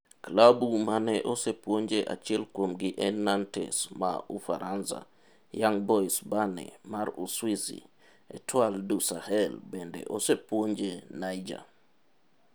Klabu mane osepuonje achiel kuomgi en Nantes maa Ufaransa, Young Boys Berne mar Uswizi, Etoile du Sahel bende osepuonjo Niger.